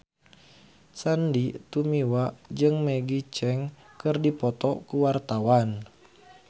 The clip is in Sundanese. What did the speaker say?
Sandy Tumiwa jeung Maggie Cheung keur dipoto ku wartawan